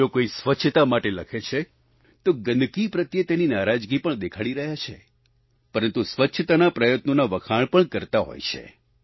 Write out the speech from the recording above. જો કોઈ સ્વચ્છતા માટે લખે છે તો ગંદકી પ્રત્યે તેની નારાજગી પણ દેખાડી રહ્યા છે પરંતુ સ્વચ્છતાના પ્રયત્નોના વખાણ પણ કરતા હોય છે